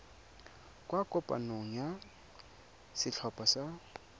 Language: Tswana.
kwa kopanong ya setlhopha sa